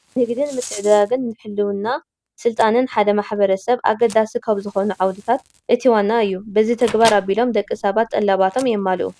ንግድን ምትዕድዳግን ንህልውናን ስልጣነነን ሓደ ማሕበረሰብ ኣገደስቲ ካብ ዝኾኑ ዓውድታት እቲ ዋና እዩ፡፡ በዚ ተግባር ኣቢሎም ደቂ ሰባት ጠለባቶም የማልኡ፡፡